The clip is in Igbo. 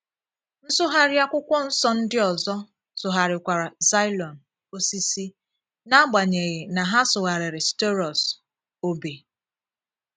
* Nsụgharị akwụkwọ nsọ ndị ọzọ sụgharịkwara xyʹlon “òsìsì” n’agbanyeghị na ha sụgharịrị staurosʹ “òbè. ”